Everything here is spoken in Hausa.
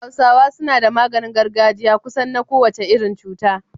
Hausawa suna da maganin gargaji kusan na kowace irin cuta.